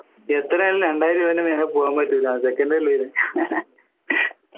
എത്രയായാലും രണ്ടായിരം രൂപന്റെ മേലെ പോവാൻ പറ്റില്ല second അല്ലേ ഇത്